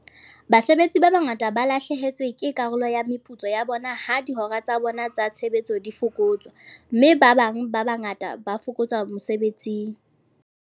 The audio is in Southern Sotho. Basebetsi ba bangata ba lahlehetswe ke karolo ya meputso ya bona ha dihora tsa bona tsa tshebetso di fokotswa, mme ba bangata ba fokotswa mesebetsing.